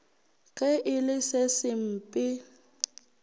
ge e le se sempe